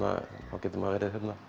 þá getur maður